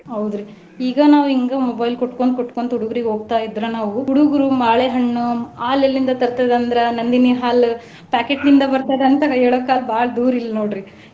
ಹೌದ್ರಿ ಈಗ ನಾವ ಹಿಂಗ mobile ಕುಟ್ಟ್ಕೊಂಡ್ ಕುಟ್ಟ್ಕೊಂತ ಹುಡುಗ್ರುಗೆ ಹೋಗ್ತಾ ಇದ್ರ ನಾವು ಹುಡುಗ್ರು ಬಾಳೆಹಣ್ಣು ಹಾಲ್ ಎಲ್ಲಿಂದ ತರ್ತೆದಂದ್ರ Nandini ಹಾಲು packet ನಿಂದ ಬರ್ತದಂತ ಹೇಳೋ ಕಾಲ್ ಭಾಳ್ ದೂರ್ ಇಲ್ಲ ನೋಡ್ರಿ .